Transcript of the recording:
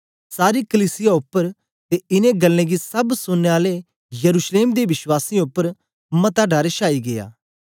सारी कलीसिया उपर ते इनें गल्लें गी सब सुनने आलें यरूशलेम दे विश्वासियें उपर मता डर शाई गीया